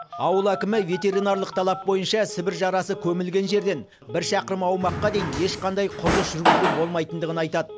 ауыл әкімі ветеринарлық талап бойынша сібір жарасы көмілген жерден бір шақырым аумаққа дейін ешқандай құрылыс жүргізуге болмайтындығын айтады